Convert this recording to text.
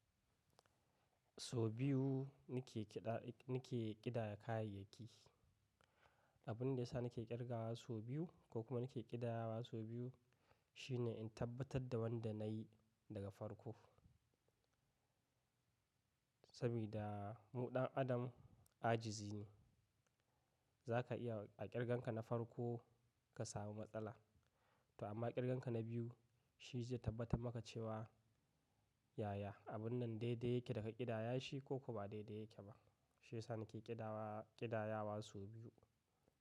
So biyu nike kiɗa, nike kiɗaya kayayyaki. Abun da ya sa nike ƙirgawa so biyu ko kuma nike kiɗayawa so biyu shine in tabbatar da wanda na yi daga farko. Saboda mu ɗan adam ajizi ne, zaka iya a ƙirganka na farko ka samu matsala. To amma ƙirgenka na biyu shi zai tabbatar maka cewa yaya abun nan daidai yake daga ƙidaya shi ko ko ba daidai yake ba. Shi ya sa nake ƙidawa, ƙidayawa so biyu.